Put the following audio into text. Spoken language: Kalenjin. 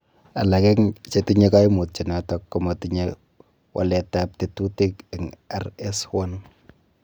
Alak en chetinye koimutioniton komotinye waletab tekutik en RS1.